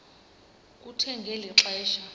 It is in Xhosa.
kuthe ngeli xesha